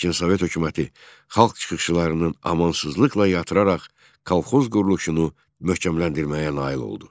Lakin Sovet hökuməti xalq çıxışlarını amansızlıqla yatıraraq kolxoz quruluşunu möhkəmləndirməyə nail oldu.